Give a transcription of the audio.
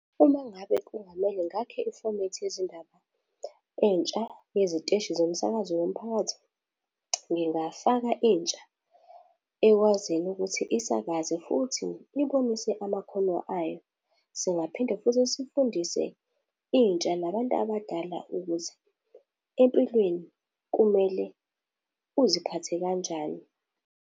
Uma ngabe kungamele ngakhe ifomethi yezindaba entsha yeziteshi zomsakazo womphakathi, ngingafaka intsha ekwaziyo ukuthi isakaze futhi ibonise amakhono ayo. Singaphinde futhi sifundise intsha nabantu abadala ukuthi, empilweni kumele uziphathe kanjani.